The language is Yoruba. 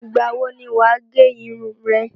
Ìgbà wo ni wà á gẹ irun re?